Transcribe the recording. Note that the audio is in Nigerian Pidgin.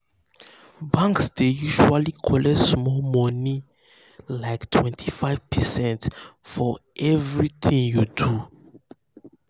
banks dey usually collect small money like um 25 per cents for um every um tin you do